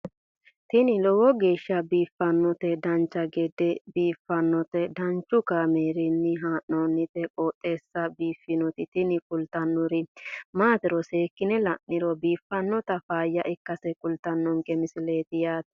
tini lowo geeshsha biiffannoti dancha gede biiffanno footo danchu kaameerinni haa'noonniti qooxeessa biiffannoti tini kultannori maatiro seekkine la'niro biiffannota faayya ikkase kultannoke misileeti yaate